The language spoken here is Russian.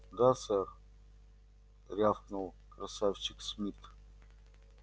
да сэр рявкнул красавчик смит